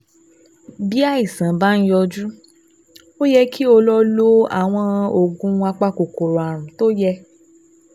Bí àìsàn bá ń yọjú, ó yẹ kí o lo lo àwọn oògùn apakòkòrò ààrùn tó yẹ